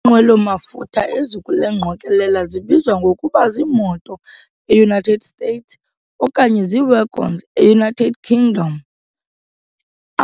Iinqwelo mafutha ezikule ngqokolela zibizwa ngokuba zii-moto, e-United States, okanye zii-"wagons", e-United Kingdom.